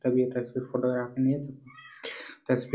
तभी फोटोग्राफर नही है